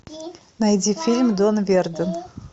найди фильм дон верден